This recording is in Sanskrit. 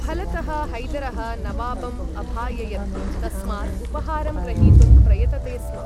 फलतः हैदरः नवाबम् अभाययत्, तस्मात् उपहारं ग्रहीतुं प्रयतते स्म।